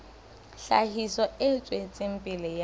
tlhahiso e tswetseng pele ya